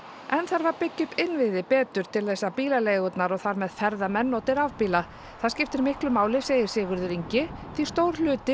enn þarf að byggja upp innviði betur til þess að bílaleigurnar og þar með ferðamenn noti rafbíla það skiptir miklu máli segir Sigurður Ingi því stór hluti